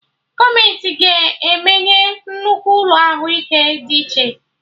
Gọọmenti ga emeye nnukwu ụlọ Ahụ ike dị iche